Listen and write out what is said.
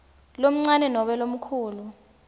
lomncane nobe lomkhulu